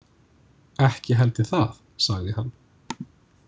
Ekki held ég það, sagði hann.